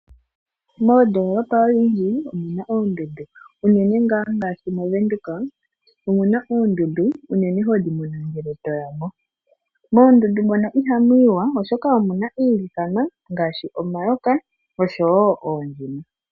Moondoolopa odhindji omuna oondundu unene ngaashi mOvenduka .Omuna oondundu unene hodhi mono ngele to yamo. Moondunda mono Iha mu yiwa oshoka omuna iilikama ngaashi omayoka oshowo oondjima.